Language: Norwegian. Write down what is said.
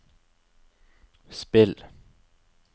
spill